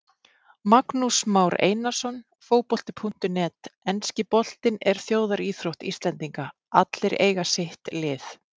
Magnús Már Einarsson, Fótbolti.net Enski boltinn er þjóðaríþrótt Íslendinga, allir eiga sitt lið.